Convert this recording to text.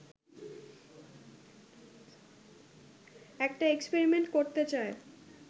একটা এক্সপেরিমেন্ট করতে চায়